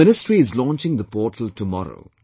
The Ministry is launching the portal tomorrow